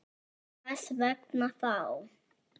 Hvers vegna þá?